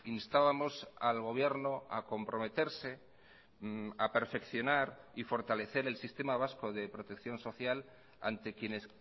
instábamos al gobierno a comprometerse a perfeccionar y fortalecer el sistema vasco de protección social ante quienes